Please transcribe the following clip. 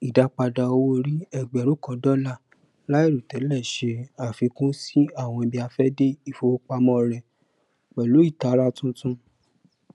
ìdápadà owóòrí ẹgbẹrún kan dólà láìròtẹlẹ ṣe àfikún sí àwọn ibiafẹde ifowopamọ rẹ pẹlú ìtara tuntun